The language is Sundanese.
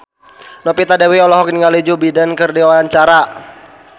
Novita Dewi olohok ningali Joe Biden keur diwawancara